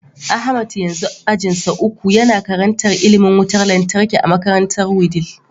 Ahmad yanzu ajinsa uku, Yana karantar ilimin wutar lantarki a makarantar wudil